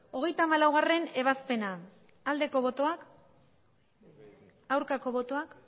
hogeita hamalaugarrena ebazpena bozka dezakegu aldeko botoak aurkako botoak